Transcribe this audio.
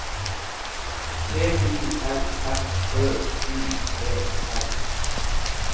T I L F Ø Y E R